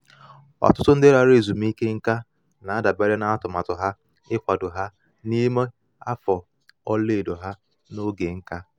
ọtụtụ ndị lara ezumike nká na-adabere na atụmatụ ha ịkwado ha n'ime afọ ọla edo ha na oge nka ha